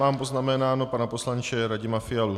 Mám poznamenaného pana poslance Radima Fialu.